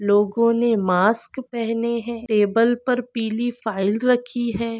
लोगों ने मास्क पहने है टेबल पर पिली फाइल रखी है।